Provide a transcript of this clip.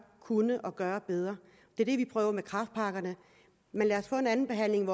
kunne gøre bedre det er det vi prøver med kræftpakkerne men lad os få en andenbehandling